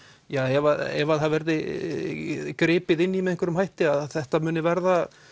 ef að það verði gripið inn í með einhverju þætti að þetta muni verða